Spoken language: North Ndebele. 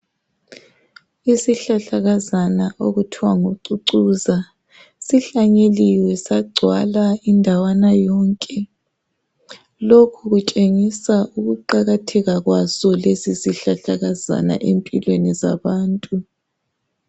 Isihlahlakazana okuthiwa ngucucuza, sihlanyeliwe sagcwala indawana yonke, lokhu kutshengisa ukuqakatheka kwaso lesi sihlahlakazana empilweni zabantu